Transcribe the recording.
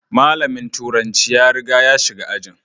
Malamin turanci ya riga ya shiga ajin.